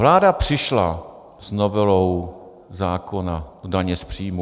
Vláda přišla s novelou zákona o dani z příjmu.